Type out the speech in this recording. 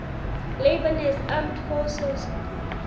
lebanese armed forces